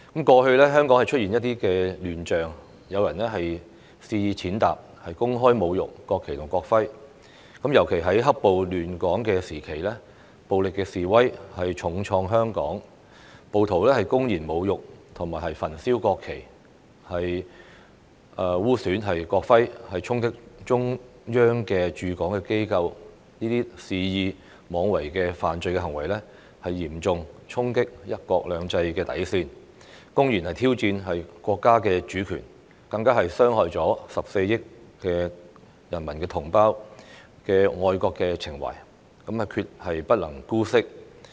過去香港出現一些亂象，有人肆意踐踏、公開侮辱國旗及國徽，尤其在"黑暴"亂港時期，暴力示威重創香港，暴徒公然侮辱和焚燒國旗、污損國徽、衝擊中央駐港機構，這些肆意妄為的犯罪行為，嚴重衝擊"一國兩制"的底線，公然挑戰國家主權，更傷害14億同胞的愛國情懷，決不能姑息。